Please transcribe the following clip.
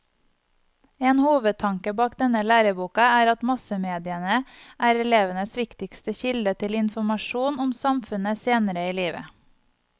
En hovedtanke bak denne læreboka er at massemediene er elevenes viktigste kilde til informasjon om samfunnet senere i livet.